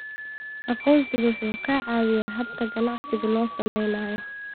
Aqoonsigu waxa uu caawiyaa habka ganacsiga loo samaynayo.